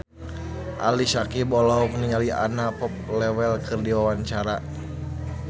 Ali Syakieb olohok ningali Anna Popplewell keur diwawancara